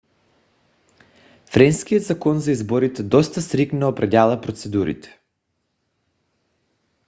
френският закон за изборите доста стриктно определя процедурите